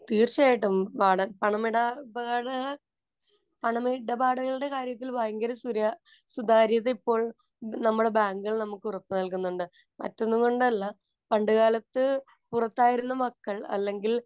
തീര്‍ച്ചയായിട്ടും. പണ, പണമിടപാട്, പണമിടപാടുകളുടെ കാര്യത്തില്‍ ഭയങ്കര സുതാ, സുതാര്യത ഇപ്പോള്‍ നമ്മുടെ ബാങ്കുകള്‍ നമുക്ക് ഉറപ്പ് നല്‍കുന്നുണ്ട്. മറ്റൊന്നും കൊണ്ടല്ല പണ്ട് കാലത്ത് പുറത്തായിരുന്ന മക്കള്‍ അല്ലെങ്കില്‍